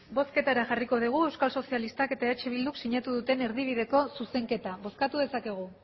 bozketa eran jarriko dugu euskal sozialistak eta eh bildu sinatu duten erdibideko zuzenketa bozkatu dezakegu